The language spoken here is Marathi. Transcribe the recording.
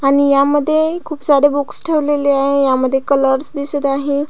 आणि ह्या मध्ये खुप सारे बुक्स ठेवलेले आहे ह्यामध्ये कलर्स दिसत आहे.